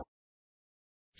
ഉദാഹരണം 11010 ആണെങ്കിൽ 26